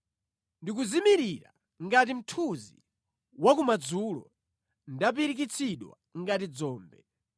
Ndikuzimirira ngati mthunzi wa kumadzulo, ndapirikitsidwa ngati dzombe.